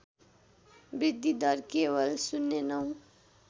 वृद्धिदर केवल ०९